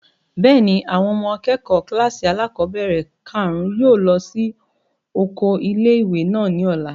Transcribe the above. Bẹ́ẹ̀ni, àwọn ọmọ akẹ́kọ̀ọ́ kílàsì alákọ́bẹ̀rẹ̀ kàrún yóò lọ sí oko ilé-ìwé náà ní ọ̀la